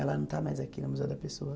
Ela não está mais aqui no Museu da Pessoa.